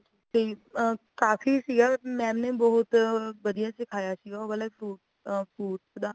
ਤੇ ਕਾਫ਼ੀ ਸੀਗਾ mam ਬਹੁਤ ਵਧੀਆ ਸਿਖਾਇਆ ਸੀਗਾ ਉਹ ਵਾਲੇਫ ਅ ਉਹ ਵਾਲੇ fruits ਦਾ